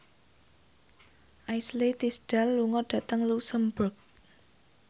Ashley Tisdale lunga dhateng luxemburg